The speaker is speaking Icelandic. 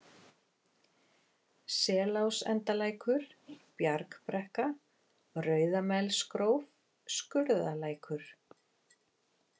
Selásendalækur, Bjargbrekka, Rauðamelsgróf, Skurðalækur